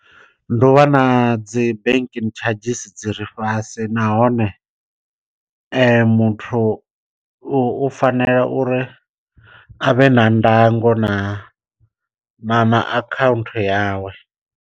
Ndi u vha na dzi banking tshadzhisi dzi re fhasi nahone muthu u fanela uri a vhe na ndango na na na account yawe.